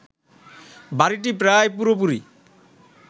বাড়িটি প্রায় পুরোপুরি